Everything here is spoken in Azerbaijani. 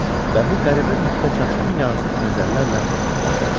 Və bu qəribə mühitə çaşqın yazıq nəzərlərlə baxırdı.